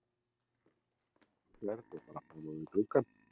Hérna bara framan við gluggann?